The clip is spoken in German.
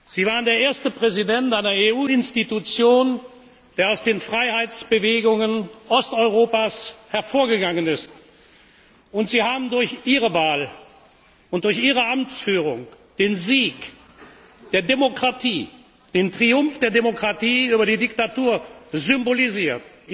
Sie waren der erste Präsident einer EU Institution, der aus den Freiheitsbewegungen Osteuropas hervorgegangen ist, und Sie haben durch Ihre Wahl und durch Ihre Amtsführung den Sieg und den Triumph der Demokratie über die Diktatur symbolisiert!